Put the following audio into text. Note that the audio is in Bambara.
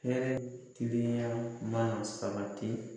Hɛrɛ ni tilenya ma sabati